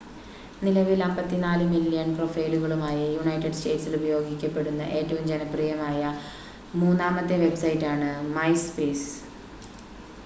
നിലവിൽ 54 മില്യൺ പ്രൊഫൈലുകളുമായി യുണൈറ്റഡ് സ്റ്റേറ്റ്സിൽ ഉപയോഗിക്കപ്പെടുന്ന ഏറ്റവും ജനപ്രിയമായ മൂന്നാമത്തെ വെബ്സൈറ്റാണ് മൈസ്പേസ്